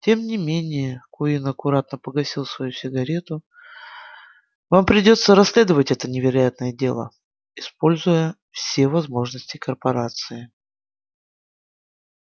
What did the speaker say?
тем не менее куинн аккуратно погасил свою сигарету вам придётся расследовать это невероятное дело используя все возможности корпорации